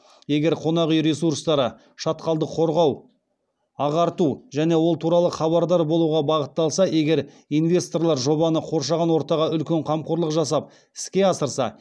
егер қонақүй ресурстары шатқалды қорғау ағарту және ол туралы хабардар болуға бағытталса егер инвесторлар жобаны қоршаған ортаға үлкен қамқорлық жасап іске асырса